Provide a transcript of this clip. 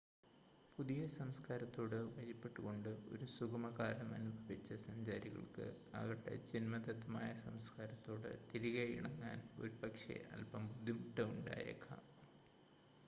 പുതിയ സംസ്ക്കാരത്തോട് വഴിപ്പെട്ടുകൊണ്ട് ഒരു സുഗമകാലം അനുഭവിച്ച സഞ്ചാരികൾക്ക് അവരുടെ ജന്മദത്തമായ സംസ്ക്കാരത്തോട് തിരികെ ഇണങ്ങാൻ ഒരുപക്ഷേ അൽപം ബുദ്ധിമുട്ട് ഉണ്ടായേക്കാം